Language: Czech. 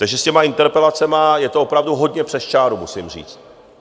Takže s těmi interpelacemi je to opravdu hodně přes čáru, musím říct.